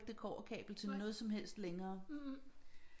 Det kobberkabel til noget som helst længere